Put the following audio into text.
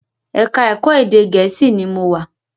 Ẹ̀ka-ẹ̀kọ́ Ede Gèésì ni mo wà.